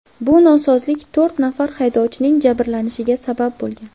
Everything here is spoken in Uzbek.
Bu nosozlik to‘rt nafar haydovchining jabrlanishiga sabab bo‘lgan.